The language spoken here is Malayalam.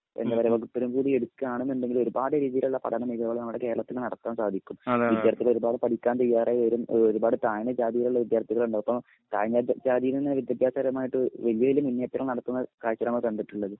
വകുപ്പിലും കൂടി എടുക്കുകയാണെന്നുണ്ടെങ്കിൽ ഒരുപാട് രീതിയിലുള്ള പഠന മികവുകൾ നമ്മുടെ കേരളത്തിൽ നടത്താൻ സാധിക്കും. വിദ്യാർഥികൾ ഒരുപാട് പഠിക്കാൻ തയ്യാറായി വരും ഒരുപാട് താഴ്ന്ന ജാതിയിലുള്ള വിദ്യാർത്ഥികൾ ഉണ്ട്. അപ്പോ താഴ്ന്ന ജാതിയിൽ നിന്ന് വിദ്യാഭ്യാസപരമായിട്ട് വല്യ വല്യ മുന്നേറ്റം നടത്തുന്ന കാഴ്ചകൾ നമ്മൾ കണ്ടിട്ടുണ്ട്.